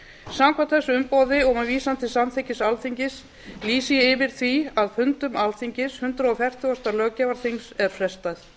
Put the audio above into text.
samkvæmt þessu umboði og með vísan til samþykkis alþingis lýsi ég yfir því að fundum alþingis hundrað fertugasta löggjafarþings er frestað